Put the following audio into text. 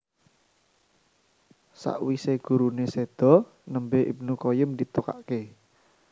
Sakwise gurune sedo nembe Ibnu Qayyim ditokake